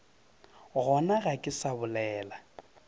gona ga ke sa bolela